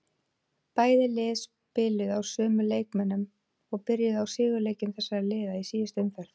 Bæði lið spiluðu á sömu leikmönnum og byrjuðu í sigurleikjum þessara liða í síðustu umferð.